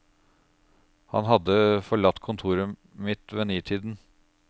Han hadde forlatt kontoret mitt ved nitiden.